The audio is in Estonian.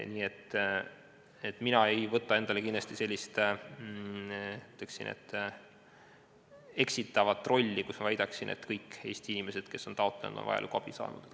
Nii et mina kindlasti ei võta endale sellist eksitavat rolli, väites, et kõik Eesti inimesed, kes on abi taotlenud, on seda ka saanud.